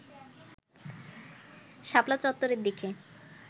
শাপলা চত্বরের দিকে